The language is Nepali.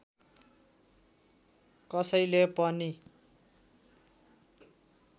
कसैले पनि